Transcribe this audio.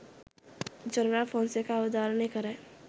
general Fonseka අවධාරණය කරයි